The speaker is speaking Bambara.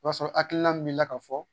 I b'a sɔrɔ hakilina min mi la ka fɔ